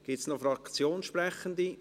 Gibt es noch Fraktionssprechende?